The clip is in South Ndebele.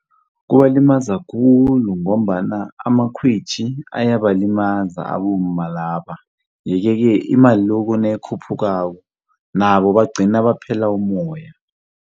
Kubalimaza khulu ngombana amakhwitjhi ayabalimaza abomma laba. Yeke-ke imali loko nayikhuphukako nabo bagcina baphela umoya.